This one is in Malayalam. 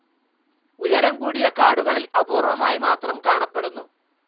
ഉയരം കൂടിയ കാടുകളിൽ അപൂർവ്വമായി മാത്രം കാണപ്പെടുന്നു.